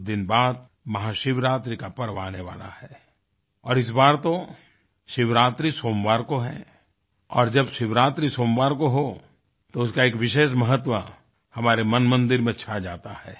कुछ दिन बाद महाशिवरात्रि का पर्व आने वाला है और इस बार तो शिवरात्रि सोमवार को है और जब शिवरात्रि सोमवार को हो तो उसका एक विशेष महत्व हमारे मनमंदिर में छा जाता है